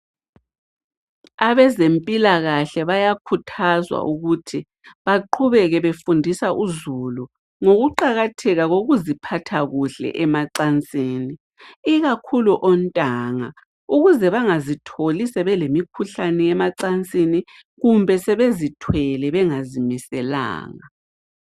Abezempilakahle bayakhuthazwa ukuthi baqhubeke befundisa uzulu ngokuqakatheka kokuziphathakuhle emacansini. Ikakhulu ontanga ukuze bangazitholi sebelemikhuhlane yemacansini kumbe sebezithwele bengazimiselanga.